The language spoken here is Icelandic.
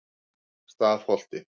Stafholti